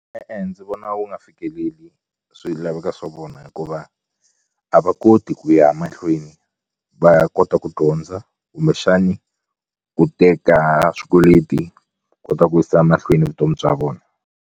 E-e ndzi vona wu nga fikeleli swilaveko swa vona hikuva a va koti ku ya mahlweni va ya kota ku dyondza kumbexani ku teka swikweleti kota ku yisa mahlweni vutomi bya vona.